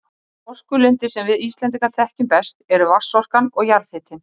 Þær orkulindir sem við Íslendingar þekkjum best eru vatnsorkan og jarðhitinn.